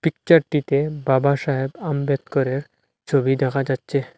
পিকচারটিতে বাবাসাহেব আম্বেদকরের ছবি দেখা যাচ্ছে।